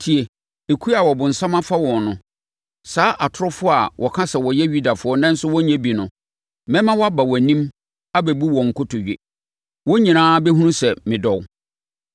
Tie! Ekuo a ɔbonsam afa wɔn no, saa atorofoɔ a wɔka sɛ wɔyɛ Yudafoɔ nanso wɔnyɛ bi no, mɛma wɔaba wʼanim abɛbu wo nkotodwe. Wɔn nyinaa bɛhunu sɛ medɔ wo.